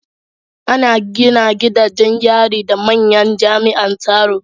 An gina gidajen yari da manyan jami’an tsaro